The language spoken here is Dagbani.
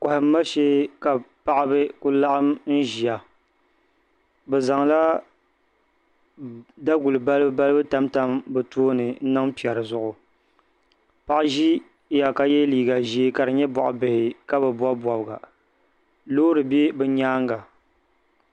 Kohamma shee ka paɣaba ku laɣam ʒiya bi zaŋla daguli balibu balibu tamtam bi tooni n niŋ piɛri zuɣu paɣa ʒiya ka yɛ liiga ka di nyɛ boɣa bihi ka bi bob bobga loori bɛ bi nyaanga